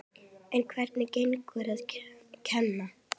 En hvernig gengur að kenna?